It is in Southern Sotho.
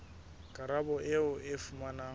karabo eo o e fumanang